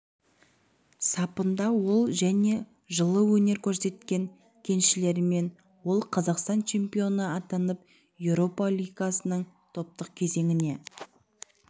сапында ол және жылы өнер көрсеткен кеншілермен ол қазақстан чемпионы атанып еуропа лигасының топтық кезеңіне